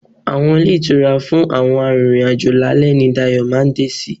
Àwọn ilé ìtura fún àwọn arìnrìn-àjò lálẹ́ ni Dayọ̀ ma dé sí.